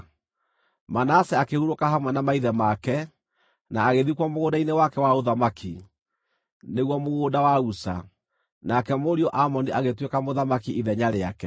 Manase akĩhurũka hamwe na maithe make, na agĩthikwo mũgũnda-inĩ wake wa ũthamaki, nĩguo mũgũnda wa Uza. Nake mũriũ Amoni agĩtuĩka mũthamaki ithenya rĩake.